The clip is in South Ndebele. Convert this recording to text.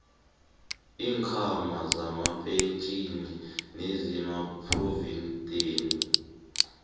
iinkhwama zamapentjhini nezamaphrovidenti